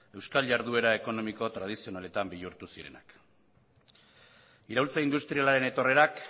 euskal jarduera ekonomiko tradizionaletan bihurtu zirenak iraultza industrialaren etorrerak